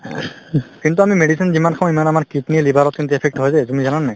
কিন্তু আমি medicine যিমান খাওঁ সিমান আমাৰ kidney য়ে liver ত কিন্তু effect হয় যে তুমি জানা নে নাই